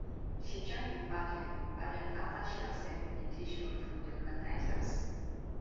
she join di pageant pageant afta she accept invitation from di organizers